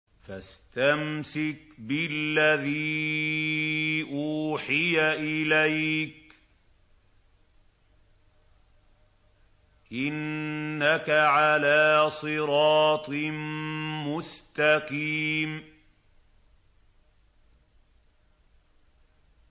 فَاسْتَمْسِكْ بِالَّذِي أُوحِيَ إِلَيْكَ ۖ إِنَّكَ عَلَىٰ صِرَاطٍ مُّسْتَقِيمٍ